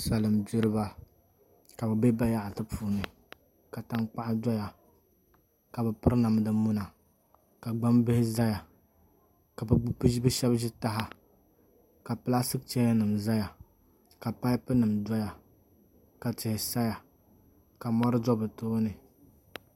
Salin gbiriba ka bi bɛ bayaɣati puuni ka tankpaɣu doya ka bi piri namdi muna ka gbambihi ʒɛya ka bi shab ʒi taha ka pilaastik chɛya nim ʒɛya ka paipu nim doya ka tihi saya ka mori do bi tooni